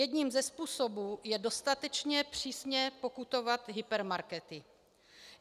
Jedním ze způsobů je dostatečně přísně pokutovat hypermarkety.